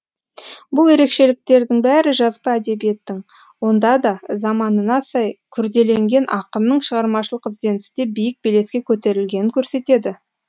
бұл ерекшеліктердің бәрі жазба әдебиеттің онда да заманына сай күрделенген ақынның шығармашылық ізденісте биік белеске көтерілгенін көрсетеді